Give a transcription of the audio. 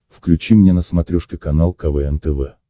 включи мне на смотрешке канал квн тв